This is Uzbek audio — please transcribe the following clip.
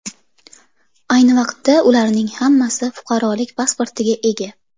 Ayni vaqtda ularning hammasi fuqarolik pasportiga ega.